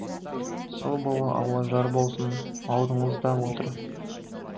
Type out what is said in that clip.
сол бала алла жар болсын алдыңызда отыр